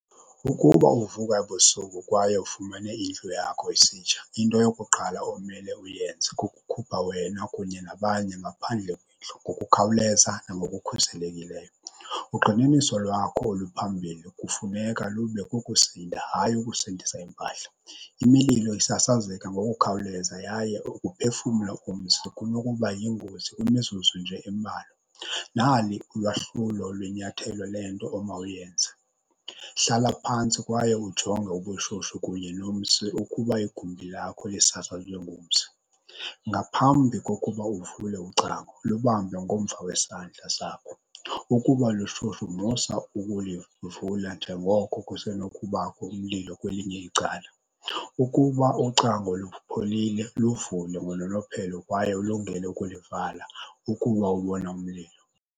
Ukuba uvuka ebusuku kwaye ufumene indlu yakho isitsha, into yokuqala omele uyenze kukukhupha wena kunye nabanye ngaphandle kwendlu ngokukhawuleza nangokukhuselekileyo. Ugxininiso lwakho oluphambili kufuneka lube kukusindisa, hayi ukusindisa iimpahla. Imililo isasazeka ngokukhawuleza yaye ukuphefumla umsi kunokuba yingozi imzuzu nje embalwa. Nali ulwahlulo lwenyathelo le nto omawuyenze, hlala phantsi kwaye ujonge ubushushu kunye nomsi ukuba igumbi lakho lisasazwe ngumsi. Ngaphambi kokuba uvule ucango, lubambe ngomva wesandla sakho. Ukuba lushushu musa ukulivula njengoko kusenokubakho umlilo kwelinye icala. Ukuba ucango lupholile, luvule ngononophelo kwaye ulungele ukulivala ukuba ubona umlilo.